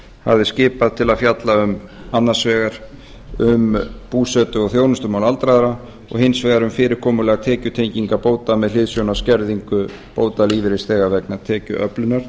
hafði skipað til að fjalla annars vegar um búsetu og þjónustumál aldraðra og hins vegar um fyrirkomulag tekjutengingar bóta með hliðsjón af skerðingu bóta lífeyrisþega vegna tekjuöflunar